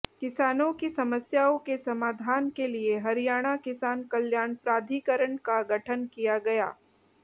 किसानों की समस्याओं के समाधान के लिए हरियाणा किसान कल्याण प्राधिकरण का गठन किया गया